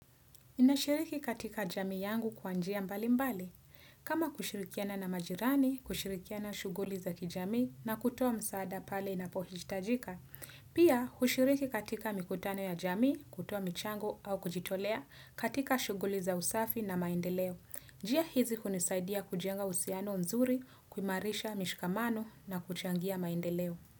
Ninashiriki katika jamii yangu kwa njia mbalimbali. Kama kushirikiana na majirani, kushirikiana shughuli za kijamii na kutoa msaada pale inapohitajika. Pia, hushiriki katika mikutano ya jamii, kutoa michango au kujitolea katika shughuli za usafi na maendeleo. Njia hizi hunisaidia kujenga uhusiano mzuri, kuimarisha mishikamano na kuchangia maendeleo.